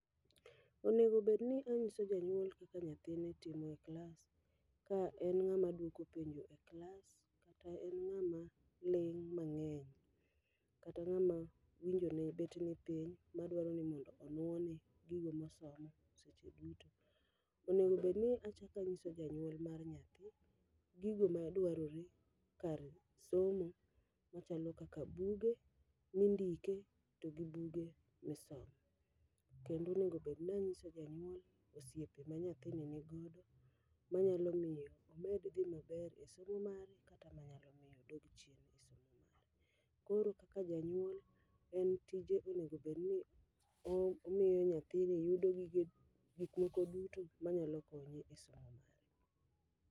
Onego bed ni inyiso janyuol kaka nyathine timo e klas, ka en ng'ama dwoko penjo e klas kata en ng'ama ling' mang'eny. Kata ng'ama winjo ne bet ni piny, ma dwaro ni mondo onwone gigo mosomo seche duto. Onego bedni achakanyiso janyuol mar nyathi, gigo madwarore kar somo machalo kaka buge mi ndike togi buge mi somo. Kendo onego bedni ang'iso janyuol osiepe ma nyathini ni godo ma nyalo miyo omed dhi maber e somo mare kata manyalo miyo odog chien e somo mare. Koro kaka janyuol, en tije onegobedni omiyo nyathini yudo gige gikmoko duto manyalo konye e somo mare.